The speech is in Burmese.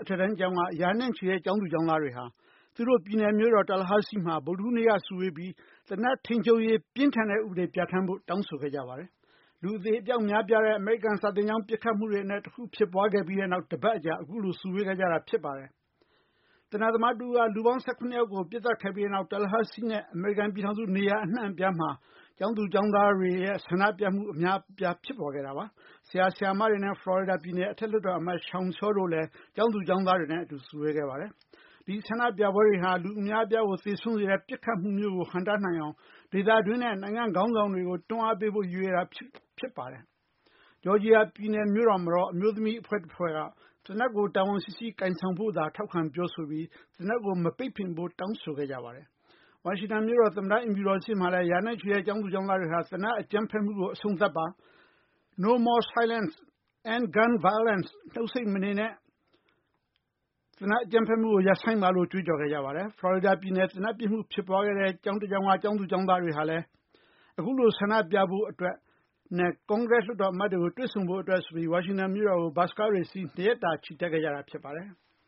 အထက်တန်းကျောင်းက ရာနဲ့ချီတဲ့ ကျောင်းသူ ကျောင်းသားတွေဟာ သူတို့ပြည်နယ်မြို့တော် Tallahassee မှာ ဗုဒ္ဓဟူးနေ့က စုဝေးပြီး သေနတ်ထိန်းချုပ်ရေး အတွက် ပြင်းထန်တဲ့ ဥပဒေတွေ ပြဌာန်းဖို့အတွက် တောင်းဆိုခဲ့ကြပါတယ်။ လူအသေပျောက် များပြားတဲ့ အမေရိကန် စာသင်ကျောင်းပစ်ခတ်မှုတွေအနက် တခုဖြစ်ပွားခဲ့ပြီးနောက် တပတ်အကြာမှာ အခုလို စုဝေးခဲ့ကြတာဖြစ်ပါတယ်။ သေနတ်သမားတဦးက လူပေါင်း ၁၇ ယောက်ကို ပစ်သတ်ခဲ့ပြီးတဲ့နောက် Tallahessee နဲ့ အမေရိကန်ပြည်ထောင်စု နေရာအနှံ့အပြားမှာ ကျောင်းသူကျောင်းသားတွေရဲ့ ဆန္ဒပြမှုတွေ အများအပြား ပေါ်ပေါက်လာခဲ့တာပါ။ ဆရာ၊ ဆရာမတွေနဲ့ ဖလော်ရီဒါပြည်နယ် အောက်လွှတ်တော်အမတ် Sean Shaw တို့လည်း ကျောင်းသူ ကျောင်းသားတွေနဲ့အတူ စုဝေးခဲ့ကြပါတယ်။ ဒီဆန္ဒပြပွဲတွေဟာ လူအများအပြားကို သေဆုံးစေတဲ့ ပစ်ခတ်မှုမျိုး ဟန့်တားနိုင်အောင် ဒေသတွင်းနဲ့ နိုင်ငံခေါင်းဆောင်တွေကို တွန်းအားပေးဖို့ ရည်ရွယ်ပြုလုပ်တာ ဖြစ်ပါတယ်။ ဂျော်ဂျီယာ ပြည်နယ်မြို့တော်မှာတော့ အမျိုးသမီးအဖွဲ့တခုက သေနတ်ကို တာဝန်ရှိရှိ ကိုင်ဆောင်စေဖို့ ထောက်ခံပြောဆိုပြီး သေနတ်ကို မပိတ်ပင်ဖို့ တောင်းဆိုခဲ့ကြပါတယ်။ ဝါရှင်တန်မြို့တော် သမ္မတအိမ်ဖြူတော်ရှေ့မှာလည်း ရာနဲ့ချီတဲ့ ကျောင်းသူကျောင်းသားတွေဟာ သေနတ်အကြမ်းဖက်မှုကို အဆုံးသတ်ပါ။ နှုတ်ဆိတ်မနေပါနဲ့ No more silence, end gun violence ဆိုပြီး ကြွေးေကြော်ခဲ့ကြပါတယ်။ ဖလော်ရီဒါ ပြည်နယ် သေနတ်ပစ်မှု ဖြစ်ပွားခဲ့တဲ့ ကျောင်းက ကျောင်းသူ၊ ကျောင်းသားတွေဟာလည်း မြို့တော် ဝါရှင်တန်ကို ဘတ်စ်ကားတွေစီးပြီး ခုလိုဆန္ဒပြဖို့ ၂ ရက်တာ ချီတက်ခဲ့ကြတာဖြစ်ပါတယ်။